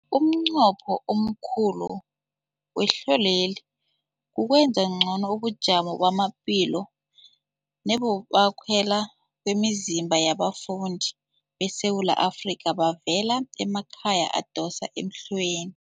Umnqopho omkhulu wehlelweli kukwenza ngcono ubujamo bamaphilo nebokwakhela kwemizimba yabafundi beSewula Afrika abavela emakhaya adosa emhlweni.